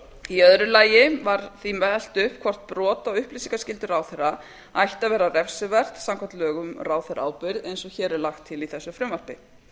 í öðru lagi var því velt upp hvort brot á upplýsingaskyldu ráðherra ætti að vera refsivert samkvæmt lögum um ráðherraábyrgð eins og hér er lagt til í þessu frumvarpi